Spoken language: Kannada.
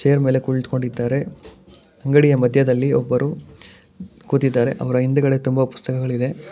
ಚೇರ್ ಮೇಲೆ ಕುಳಿತುಕೊಂಡಿದ್ದಾರೆ ಅಂಗಡಿಯ ಮಧ್ಯದಲ್ಲಿ ಒಬ್ಬರು ಕೂತಿದ್ದಾರೆ ಅವರ ಹಿಂದುಗಡೆ ತುಂಬಾ ಪುಸ್ತಕಗಳಿದೆ.